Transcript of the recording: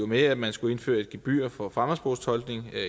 med at man skulle indføre et gebyr for fremmedsprogstolkning